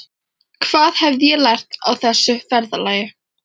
Hvað hafði ég lært á þessu ferðalagi?